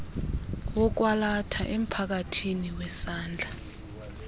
wokwalatha emphakathini wesandla